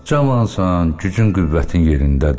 Cavansan, gücün-qüvvətin yerindədir.